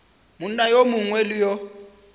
monna yo mongwe le yo